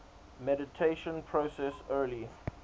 mediation process early